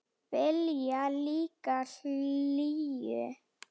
Vilja líka hlýju.